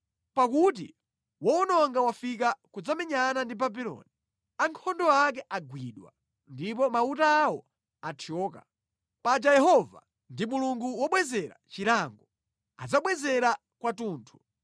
Pakuti wowononga wafika kudzamenyana ndi Babuloni, ankhondo ake agwidwa, ndipo mauta awo athyoka. Paja Yehova ndi Mulungu wobwezera chilango; adzabwezera kwathunthu.